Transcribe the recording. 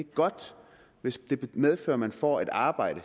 godt hvis det medfører at man får et arbejde